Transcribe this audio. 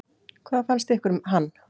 Hvað fannst ykkur um hann?